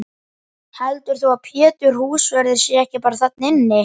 Heldurðu að Pétur húsvörður sé ekki bara þarna inni?